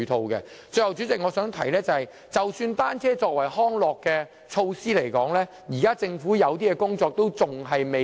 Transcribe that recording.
最後，代理主席，我想指出，即使政府視單車為康樂工具，現時仍有些工作做得不足。